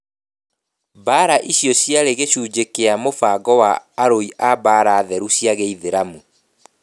Mbaara icio ciarĩ gĩcunjĩ kĩa mũbango wa arui a mbaara theru cia gĩithiramu